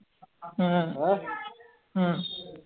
ਹਮਮ ਹਮਮ